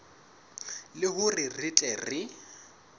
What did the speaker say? le hore re tle re